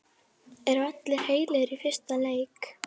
Eru allir heilir í fyrsta leik?